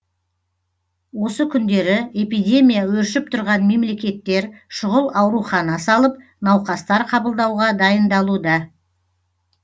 осы күндері эпидемия өршіп тұрған мемлекеттер шұғыл аурухана салып науқастар қабылдауға дайындалуда